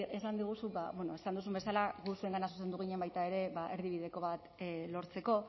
esan diguzu esan duzun bezala gu zuengana zuzendu ginen baita ere ba erdibideko bat lortzeko